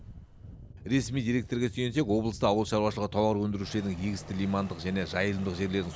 ресми деректерге сүйенсек облыста ауыл шаруашылығы тауар өндірушілерінің егісті лимандық және жайылымдық жерлерін